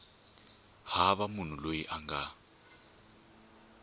hava munhu loyi a nga